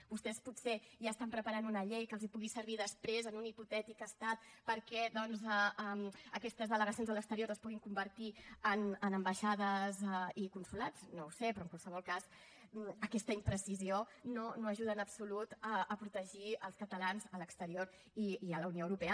vostès potser ja estan preparant una llei que els pugui servir després en un hipotètic estat perquè doncs aquestes delegacions a l’exterior es puguin convertir en ambaixades i consolats no ho sé però en qualsevol cas aquesta imprecisió no ajuda en absolut a protegir els catalans a l’exterior i a la unió europea